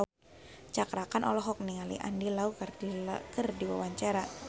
Cakra Khan olohok ningali Andy Lau keur diwawancara